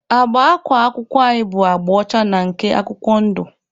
Agba akwa akwụkwọ anyị bụ agba ọcha na nke akwụkwọ ndụ.